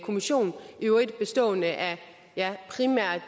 kommission i øvrigt bestående af primært